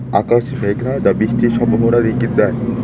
আকাশ মেঘনা যা বৃষ্টির সম্ভাবনার ইঙ্গিত দেয়।